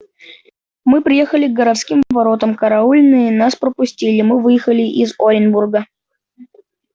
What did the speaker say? мы приехали к городским воротам караульные нас пропустили мы выехали из оренбурга